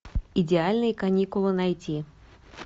идеальные каникулы найти